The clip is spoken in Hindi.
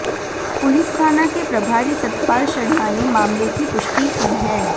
पुलिस थाना के प्रभारी सतपाल शर्मा ने मामले की पुष्टि की है